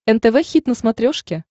нтв хит на смотрешке